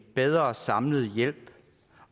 bedre samlet hjælp